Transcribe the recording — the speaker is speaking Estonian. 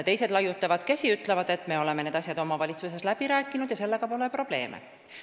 Teised laiutavad käsi ja ütlevad, et me oleme need asjad omavalitsuses läbi rääkinud ja sellega pole probleeme.